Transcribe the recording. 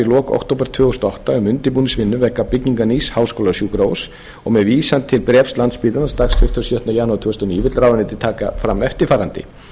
í október tvö þúsund og átta um undirbúningsvinnu vegna byggingar nýs háskólasjúkrahúss og með vísan til bréfs landspítalans dagsett þann sjötta janúar tvö þúsund og níu vill ráðuneytið taka fram eftirfarandi